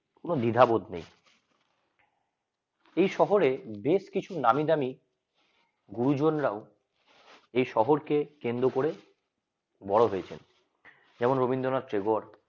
কোন দ্বিধাবোধ নেই এই শহরে বেশ কিছু নামিদামি গুরুজন রাও এ শহরকে কেন্দ্র করে বড় হয়েছেন যেমন রবীন্দ্রনাথ ঠাকুর